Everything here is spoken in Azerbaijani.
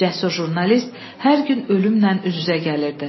Cəsur jurnalist hər gün ölümlə üz-üzə gəlirdi.